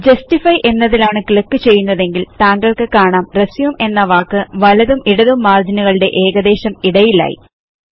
justify എന്നതിലാണ് click ചെയ്യുന്നതെങ്കിൽ താങ്കൾക്ക് കാണാം RESUMEഎന്ന വാക്ക് വലതും ഇടതും മാർജിനുകളുടെ ഏകദേശം ഇടയിലായി